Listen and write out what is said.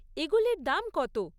এগুলির দাম কত?